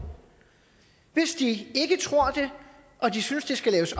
hvis de ikke tror det og de synes det skal laves